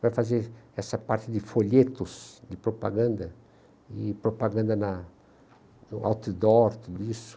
Vai fazer essa parte de folhetos, de propaganda, e propaganda na no outdoor, tudo isso.